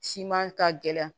Siman ka gɛlɛn